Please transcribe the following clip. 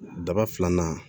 Daba filanan